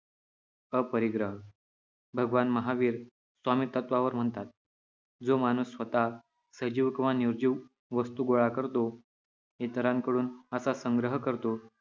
अपरिग्रह - भगवान महावीर स्वामीत्वावर म्हणतात, जो माणूस स्वतः सजीव किंवा निर्जीव वस्तू गोळा करतो, इतरांकडून असा संग्रह करतो